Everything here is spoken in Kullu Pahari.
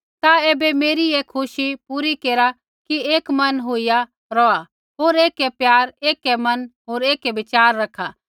ता ऐबै मेरी ऐ खुशी पूरी केरा कि एक मन होईया रौहा होर ऐकै प्यार एक मन होर एक विचार रखा